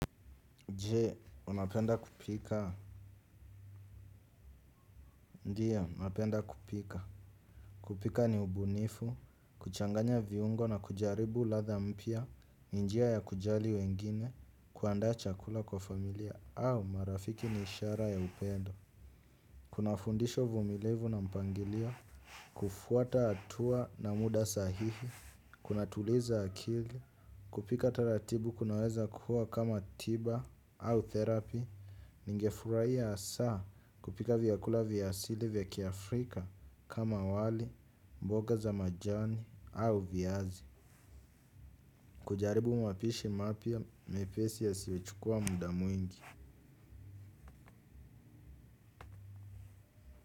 Je, unapenda kupika? Ndiyo, napenda kupika. Kupika ni ubunifu, kuchanganya viungo na kujaribu ladha mpya ni njia ya kujali wengine kuandaa chakula kwa familia au marafiki ni ishara ya upendo. Kuna fundisho uvumilivu na mpangilio, kufuata hatua na muda sahihi, kuna tuliza akili, kupika taratibu kunaweza kuwa kama tiba au therapy, ningefurahia hasa kupika vyakula vya asili vya kiafrika kama wali, mboga za majani au viazi. Kujaribu mapishi mapya mepesi yasiyochukua muda mwingi.